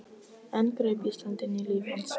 Enn greip Ísland inn í líf hans.